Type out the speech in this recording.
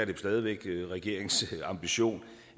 jo stadig væk regeringens ambition